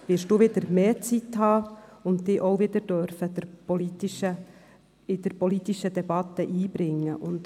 ( Jetzt werden Sie mehr Zeit haben und sich auch wieder in die politische Debatte einbringen dürfen.